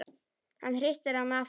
Hann hristir hana aftur.